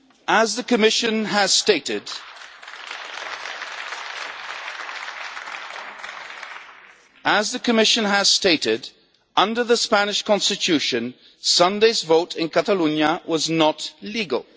As the Commission has stated, under the Spanish Constitution Sunday's vote in Catalonia was not legal.